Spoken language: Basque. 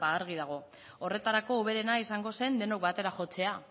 ba argi dago horretarako hoberena izango zen denok batera jotzea